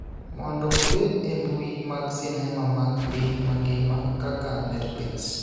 mondo obed e mbui mag sinema mag piny mangima kaka Netflix.